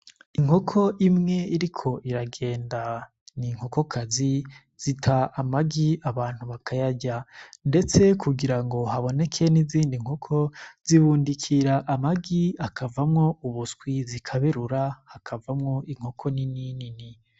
Inkoko imwe iriko iragenda ni nkokokazi zita amagi abantu bakayarya, ndetse kugira ngo haboneke n'izindi nkoko zibundikira amagi akavamwo ubuswi zikaberura hakavamwo inkoko ni ninini.